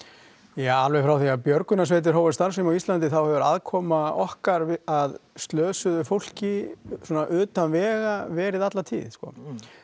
já alveg frá því að björgunarsveitir hófu starfsemi á Íslandi þá hefur aðkoma okkar að slösuðu fólki svona utan vega verið alla tíð sko